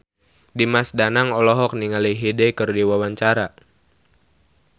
Dimas Danang olohok ningali Hyde keur diwawancara